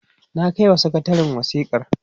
na kaiwa sakatarin wasikar